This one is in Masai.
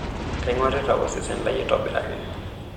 Kaing'orita osesen lai aitobiraki.